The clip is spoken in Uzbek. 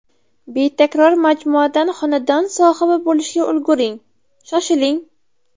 Betakror majmuadan xonadon sohibi bo‘lishga ulguring Shoshiling!